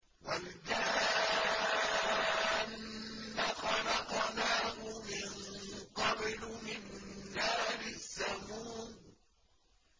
وَالْجَانَّ خَلَقْنَاهُ مِن قَبْلُ مِن نَّارِ السَّمُومِ